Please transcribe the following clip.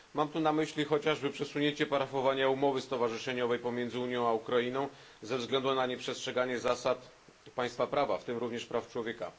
Mam tu na myśli chociażby przesunięcie podpisania umowy stowarzyszeniowej pomiędzy Unią i Ukrainą ze względu na nieprzestrzeganie zasad państwa prawa, w tym również praw człowieka.